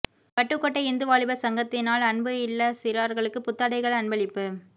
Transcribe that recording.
வட்டுக்கோட்டை இந்து வாலிபர் சங்கத்தினால் அன்பு இல்ல சிறார்களுக்கு புத்தடைகள் அன்பளிப்பு